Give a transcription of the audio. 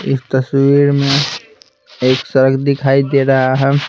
इस तस्वीर में एक सड़क दिखाई दे रहा है।